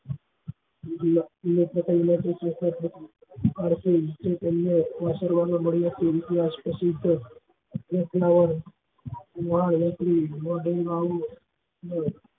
આ મળ્યા હોય એવા પ્રસિદ્ધ